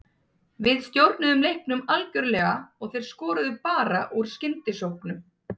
Við stjórnuðum leiknum algjörlega og þeir skoruðu bara úr skyndisóknum.